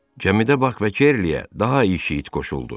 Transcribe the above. Gəmidə Bak və Kerliyə daha iki it qoşuldu.